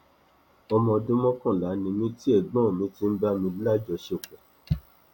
ọmọ ọdún mọkànlá ni mí tí ẹgbọn mi ti ń bá mi lájọṣepọ